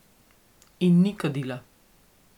In ni kadila.